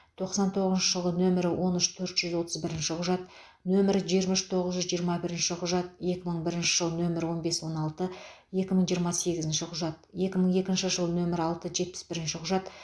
тоқсан тоғызыншы жылғы нөмірі он үш төрт жүз отыз бірінші құжат нөмірі жиырма үш тоғыз жүз жиырма бірінші құжат екі мың бірінші нөмірі он бес он алты екі жүз жиырма сегізінші құжат екі мың екінші жылғы нөмірі алты жетпіс бірінші құжат